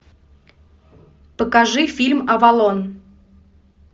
покажи фильм авалон